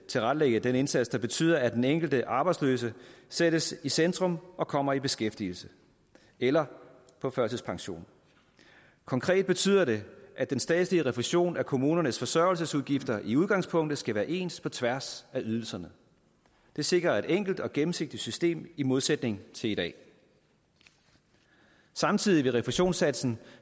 tilrettelægge den indsats der betyder at den enkelte arbejdsløse sættes i centrum og kommer i beskæftigelse eller på førtidspension konkret betyder det at den statslige refusion af kommunernes forsørgelsesudgifter i udgangspunktet skal være ens på tværs af ydelserne det sikrer et enkelt og gennemsigtigt system i modsætning til i dag samtidig vil refusionssatsen